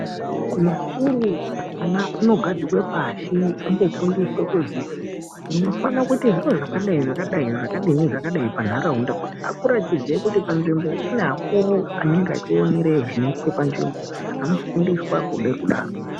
Ku mazvikoro ana ano gadzikwa pashi umbo fundiswa kuzi munoifana kuita zviro zvakadai zvakadai zvakadini ne zvakadai pa nharaunda kuti akure echiziya kuti kune vakuru anenge echionere zvunoitwa pa nzvimbo anofundiswa kuda kudaro.